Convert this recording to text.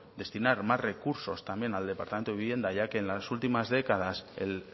destinar más recursos también al departamento de vivienda ya que en las últimas décadas el